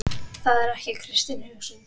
Það er ekki kristin hugsun.